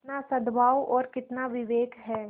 कितना सदभाव और कितना विवेक है